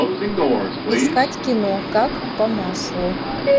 искать кино как по маслу